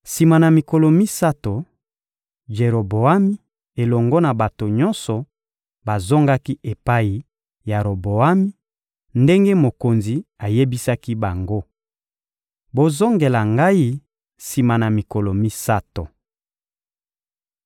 Sima na mikolo misato, Jeroboami elongo na bato nyonso bazongaki epai ya Roboami, ndenge mokonzi ayebisaki bango: «Bozongela ngai sima na mikolo misato.»